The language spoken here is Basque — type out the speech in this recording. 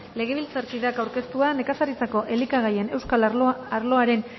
legebiltzarkideak aurkeztua nekazaritzako elikagaien euskal arloaren